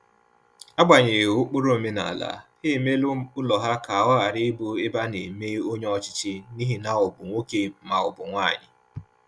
Agbanyeghi ụkpụrụ omenala, ha emela ụlọ ha ka ọ ghara ịbụ ebe ana eme onye ọchịchị n'ihi na ọ bụ nwoke ma ọ bụ nwanyi